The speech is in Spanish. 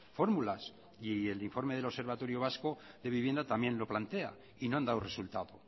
fórmulas y el informe del observatorio vasco de vivienda también lo plantea y no han dado resultado